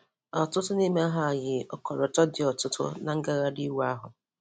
Ọtụtụ n'ime ha yi ọkọlọtọ dị ọtụtụ na ngagharị iwe ahụ.